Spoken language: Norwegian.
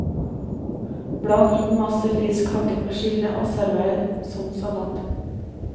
Bland inn masse frisk hakket persille og server som salat.